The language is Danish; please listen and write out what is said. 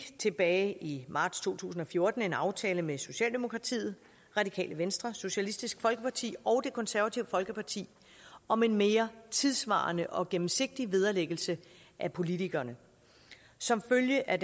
tilbage i marts to tusind og fjorten en aftale med socialdemokratiet radikale venstre socialistisk folkeparti og det konservative folkeparti om en mere tidssvarende og gennemsigtig vederlæggelse af politikerne som følge af